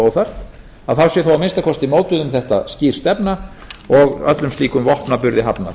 og óþarft þá sé að minnsta kosti mótuð um þetta skýr stefna og öllum slíkum vopnaburði hafnað